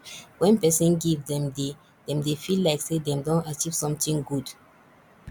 when person give dem dey dem dey feel like sey dem don achieve something good